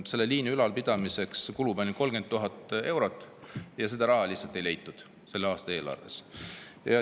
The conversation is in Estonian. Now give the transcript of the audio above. Selle liini ülalpidamiseks kulub ainult 30 000 eurot, aga selle aasta eelarvest seda raha lihtsalt ei leitud.